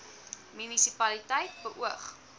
munisi paliteit beoog